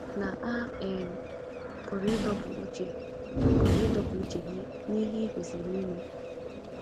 Na a um pụrụ ịdọpụ uche pụrụ ịdọpụ uche gị n’ihe ị kwesiri ime.